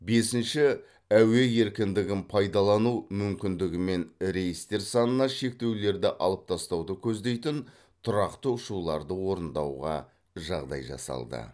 бесінші әуе еркіндігін пайдалану мүмкіндігімен рейстер санына шектеулерді алып тастауды көздейтін тұрақты ұшуларды орындауға жағдай жасалды